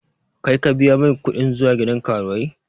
Kai ka biya mai kuɗin zuwa gidan karuwai?